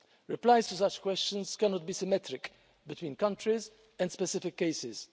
Replies to such questions cannot be symmetric between countries and specific cases.